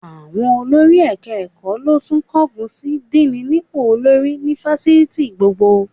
Àwọn olórí ẹ̀ka-ẹ̀kọ́ ló tún kángun sí díìnì nípò olórí ni fásitì gbogbo